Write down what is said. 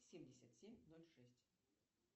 семьдесят семь ноль шесть